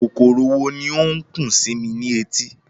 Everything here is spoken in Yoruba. Kòkòrò wo ni ó ń kùn sí mi ní etí?